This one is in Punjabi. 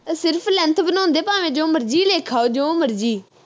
ਸਿਰਫ length ਬਣਾਓਦੇ ਭਾਂਵੇ ਦੋ ਮਰਜੀ ਲਿਖ ਆਓ ਜੋ ਮਰਜੀ